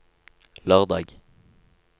lørdag